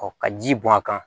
ka ji bɔn a kan